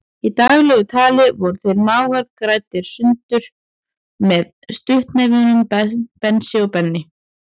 Í daglegu tali voru þeir mágar greindir sundur með stuttnefnunum Bensi og Benni.